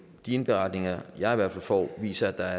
de indberetninger jeg i hvert fald får viser at der